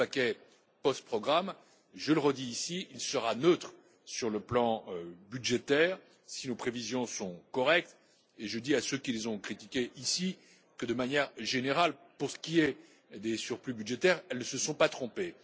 Le paquet post programme je le redis ici sera neutre sur le plan budgétaire si nos prévisions sont correctes et je dis à ceux qui les ont critiquées ici que, de manière générale, pour ce qui est des surplus budgétaires, elles ne se sont pas trompées.